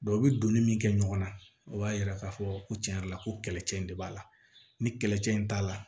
u bɛ donni min kɛ ɲɔgɔn na o b'a yira k'a fɔ ko tiɲɛ yɛrɛ la ko kɛlɛcɛ in de b'a la ni kɛlɛcɛ in t'a la